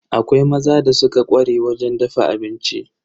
Akwai maza da suka ƙware wajen dafa abinci.